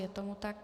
Je tomu tak.